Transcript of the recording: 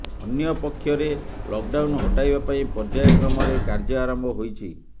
ଅନ୍ୟପକ୍ଷରେ ଲକଡାଉନ୍ ହଟାଇବା ପାଇଁ ପର୍ଯ୍ୟାୟ କ୍ରମରେ କାର୍ଯ୍ୟ ଆରମ୍ଭ ହୋଇଛି